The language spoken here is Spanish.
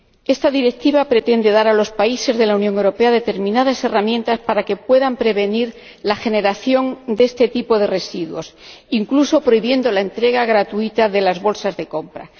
Esta Directiva pretende dar a los países de la Unión Europea determinadas herramientas para que puedan prevenir la generación de este tipo de residuos, incluso prohibiendo la entrega gratuita de las bolsas de la compra.